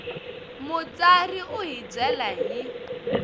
mutsari u hi byela hi